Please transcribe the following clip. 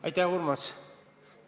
Aitäh, Urmas!